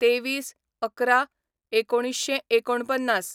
२३/११/१९४९